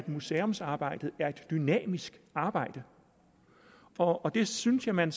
museumsarbejdet er jo et dynamisk arbejde og det synes jeg man